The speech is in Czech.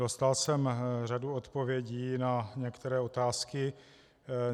Dostal jsem řadu odpovědí na některé otázky.